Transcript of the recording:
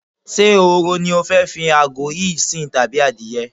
Ṣé ehoro ni o fẹ́ fi àgò yìí sìn tàbí adìe?